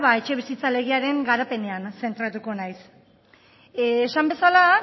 etxebizitza legearen garapenean zentratuko naiz esan bezala